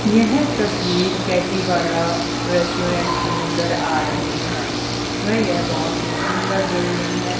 यह तस्वीर कैटी वाला रेस्टोरेंट की नजर आ रही हैं व यह बहुत ही सुंदर बिल्डिंग है।